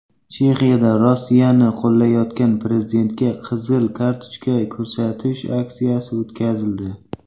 Chexiyada Rossiyani qo‘llayotgan prezidentga qizil kartochka ko‘rsatish aksiyasi o‘tkazildi.